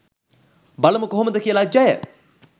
බලමු කොහොමද කියලා ජය